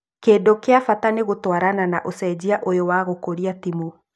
Kĩndũ kĩa bata nĩ gũtwarana na ũcenjia ũyũ wa gũkũria timũ